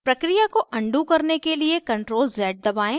प्रक्रिया को अनडू करने के लिए ctrl + z दबाएं